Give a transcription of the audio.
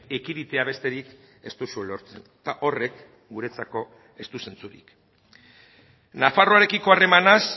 ekiditea besterik ez duzue lortzen eta horrek guretzako ez du zentzurik nafarroarekiko harremanaz